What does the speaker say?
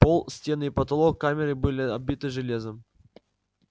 пол стены и потолок камеры были обиты железом